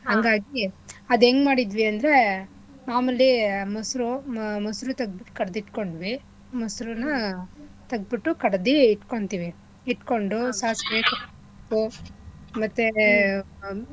ಹಂಗಾಗಿ. ಅದ್ ಯೆಂಗ್ ಮಾಡಿದ್ವಿ ಅಂದ್ರೆ ಮಾಮೂಲಿ ಮೊಸ್ರು ಮೊಸ್ರು ತಕ್ದು ಕಡ್ದು ಇತ್ಕೊಂಡ್ವಿ ಮೊಸ್ರುನ ತಗ್ದ್ಬಿಟ್ಟು ಕಡ್ದಿ ಇಟ್ಕೊಂತಿವಿ ಇಟ್ಕೊಂಡು ಸಾಸಿವೆ ಉಪ್ಪು ಮತ್ತೇ.